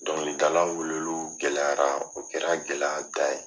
Dɔnkilidalaw weleliw gɛlɛyara o kɛra gɛlɛya dan ye.